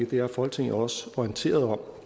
det er folketinget også orienteret om